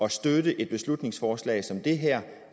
at støtte et beslutningsforslag som det her